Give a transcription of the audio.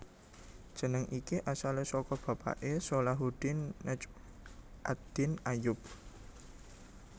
Jeneng iki asalé saka bapaké Salahuddin Najm ad Din Ayyub